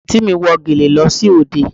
Àǹtí mi wọ gèlè lọ sí òde